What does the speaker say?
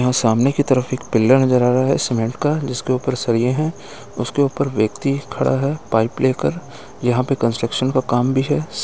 यहाँ सामने की तरफ एक पिल्लर नज़र आ रहा है सीमेंट का जिसके ऊपर सरिये हैं उसके ऊपर व्यक्ति खड़ा है पाइप लेकर यहाँ पर कंस्ट्रक्शन का काम भी है।